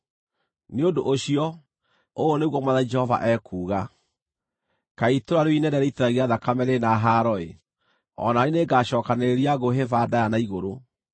“ ‘Nĩ ũndũ ũcio, ũũ nĩguo Mwathani Jehova ekuuga: “ ‘Kaĩ itũũra rĩu inene rĩitithagia thakame rĩrĩ na haaro-ĩ! O na niĩ nĩngacookanĩrĩria ngũ hĩba ndaaya na igũrũ.